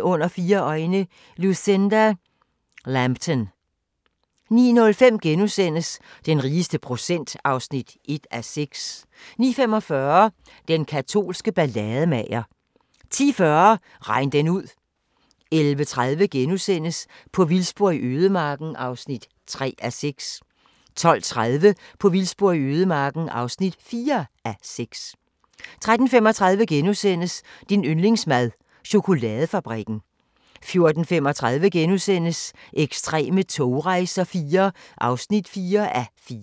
Under fire øjne – Lucinda Lambton 09:05: Den rigeste procent (1:6)* 09:45: Den katolske ballademager 10:40: Regn den ud 11:30: På vildspor i ødemarken (3:6)* 12:30: På vildspor i ødemarken (4:6) 13:35: Din yndlingsmad: Chokoladefabrikken * 14:35: Ekstreme togrejser IV (4:4)*